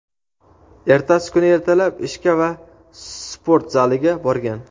ertasi kuni ertalab ishga va sport zaliga borgan.